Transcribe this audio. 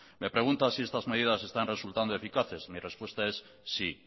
me pregunta si estas medidas están resultando eficaces mi respuesta es sí